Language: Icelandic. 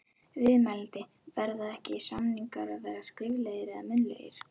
Viðmælandi: Verða ekki, samningar að vera skriflegir eða munnlegir?